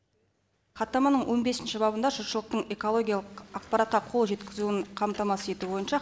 хаттаманың он бесінші бабында жұртшылықтың экологиялық ақпаратқа қол жеткізуін қамтамасыз ету бойынша